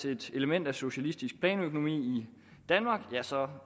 et element af socialistisk planøkonomi i danmark ja så